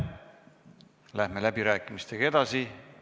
Läheme läbirääkimistega edasi.